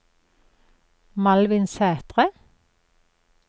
Malvin Sætre